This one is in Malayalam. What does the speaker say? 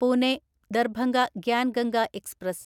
പൂനെ ദർഭംഗ ഗ്യാൻ ഗംഗ എക്സ്പ്രസ്